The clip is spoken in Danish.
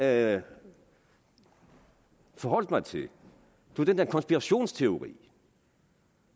jeg forholdt mig til var den der konspirationsteori